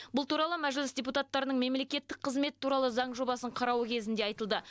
бұл туралы мәжіліс депутаттарының мемлекеттік қызмет туралы заң жобасын қарауы кезінде айтылды